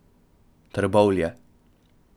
Trbovlje.